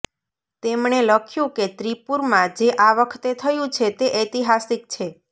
તેમણે લખ્યું કે ત્રિપુરમાં જે આ વખતે થયું છે તે ઐતિહાસિક છે